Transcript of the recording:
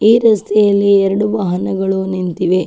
ಈ ರಸ್ತೆಯಲ್ಲಿ ಎರಡು ವಾಹನಗಳು ನಿಂತಿವೆ.